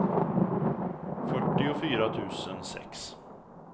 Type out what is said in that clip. fyrtiofyra tusen sex